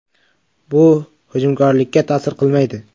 Bu hujumkorlikka ta’sir qilmaydi.